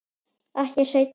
Ekki seinna.